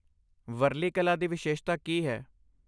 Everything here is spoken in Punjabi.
ਵਾਰਲੀ ਕਲਾ ਦੀ ਵਿਸ਼ੇਸ਼ਤਾ ਕੀ ਹੈ?